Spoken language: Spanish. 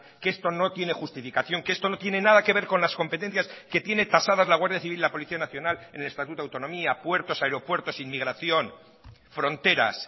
que esto no tiene justificación que esto no tiene nada que ver con las competencias que tiene tasadas la guardia civil y la policía nacional en el estatuto de autonomía puertos aeropuertos inmigración fronteras